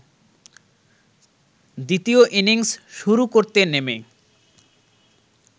দ্বিতীয় ইনিংস শুরু করতে নেমে